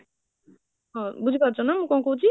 ହଁ ବୁଝି ପଢ଼ୁଛ ନା ମୁଁ କଣ କହୁଛି?